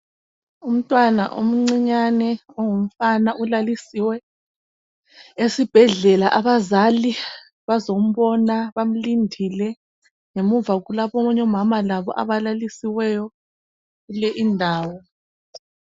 Umntwana omncinyane ongumfana ulalisiwe esibhedlela abazali bazombona bamlindile ngemuva kulabanye omama labo abalalisiweyo kule indawo.